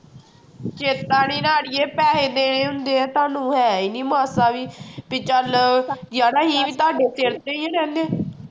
ਚੇਤਾ ਨੀ ਨਾ ਆੜੀਏ ਪੈਸੇ ਦੇਣੇ ਹੁੰਦੇ ਹੈ ਤੁਹਾਨੂੰ ਹੈ ਹੀ ਨੀ ਮਸਾਂ ਵੀ ਵੀ ਚੱਲ ਜਾਂ ਨਹੀਂ ਵੀ ਤੁਹਾਡੇ ਸਿਰ ਤੇ ਹੀ ਰਹਿਨੇ ਹਾਂ